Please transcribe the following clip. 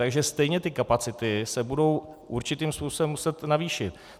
Takže stejně ty kapacity se budou určitým způsobem muset navýšit.